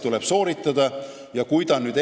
Tuleb sooritada mitmeid teste ja katseid.